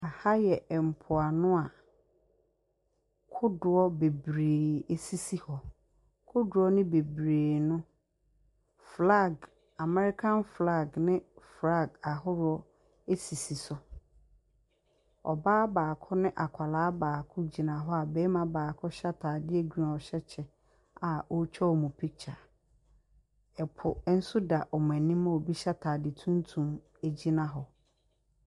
Aha yɛ mpoano a kodoɔ bebree esisi hɔ. Kodoɔ no bebree no, Amɛrikan flaag ne flaag ahoroɔ esisi so. Ɔbaa baako ne akwadaa baako gyina hɔ, a bɛɛma baako hyɛ ataadeɛ griin a ɔhyɛ kyɛ, a ɔtwa wɔn pikkya. Ɛpo nso da ɔmo anim a obi hyɛ ataade tuntum egyina hɔ.